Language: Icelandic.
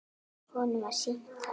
Honum var sýnt það.